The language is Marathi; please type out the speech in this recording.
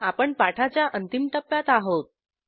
आपण पाठाच्या अंतिम टप्प्यात आहोत